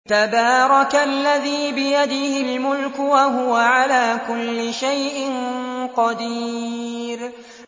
تَبَارَكَ الَّذِي بِيَدِهِ الْمُلْكُ وَهُوَ عَلَىٰ كُلِّ شَيْءٍ قَدِيرٌ